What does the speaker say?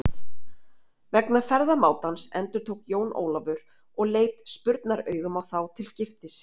Vegna ferðamátans endurtók Jón Ólafur og leit spurnaraugum á þá til skiptis.